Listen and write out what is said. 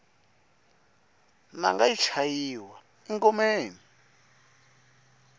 nanga yi chayiwa engomeni